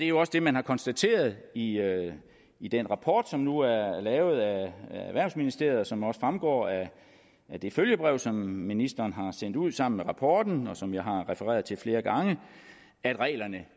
jo også det man har konstateret i i den rapport som nu er er lavet af erhvervsministeriet og som det også fremgår af det følgebrev som ministeren har sendt ud sammen med rapporten og som jeg har refereret til flere gange at reglerne